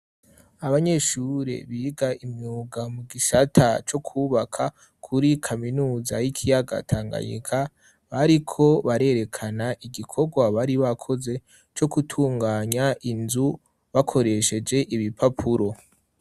Abanyeshure biga imyuga mu gisata co kwubaka kuri kaminuza y'ikiyaga Tanganyika, bariko barerekana igikorwa bari bakoze co gutunganya inzu, bakoresheje ibipapuro.